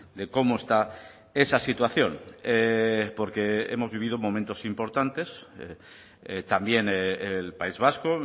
de cómo está esa situación porque hemos vivido momentos importantes también el país vasco